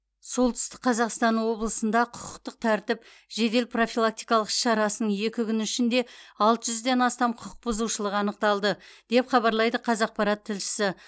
солтүстік қазақстан облысында құқықтық тәртіп жедел профилактикалық іс шарасының екі күні ішінде алты жүзден астам құқық бұзушылық анықталды деп хабарлайды қазақпарат тілшісі